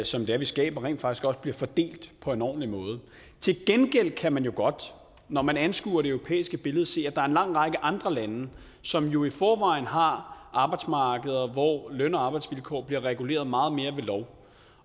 som vi skaber rent faktisk også bliver fordelt på en ordentlig måde til gengæld kan man jo godt når man anskuer det europæiske billede se at der er en lang række andre lande som jo i forvejen har arbejdsmarkeder hvor løn og arbejdsvilkår bliver reguleret meget mere ved lov